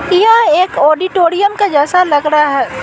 यह एक ऑडिटोरियम के जैसा लग रहा है।